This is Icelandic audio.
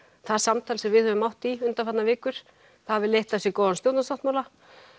það samtal sem við höfum átt í undanfarnar vikur hafi leitt af sér góðan stjórnarsáttmála